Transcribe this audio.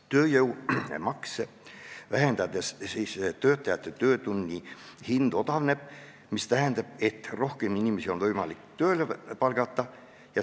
Tööjõumakse vähendades töötajate töötunni hind odavneb, mis tähendab, et on võimalik tööle palgata rohkem inimesi.